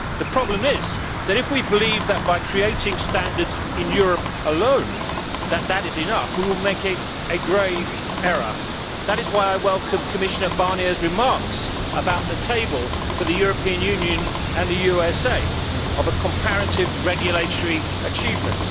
The problem is that if we believe that creating standards in Europe alone is enough, we will make a grave error. That is why I welcome Commissioner Barnier's remarks about table for the European Union and the USA of comparative regulatory achievement.